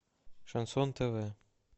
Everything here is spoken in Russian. шансон тв